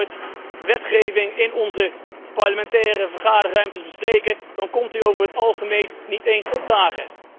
Als we dit soort wetgeving in onze parlementaire vergaderruimtes bespreken, dan komt u over het algemeen niet eens opdagen.